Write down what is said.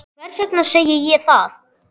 Hvers vegna segi ég það?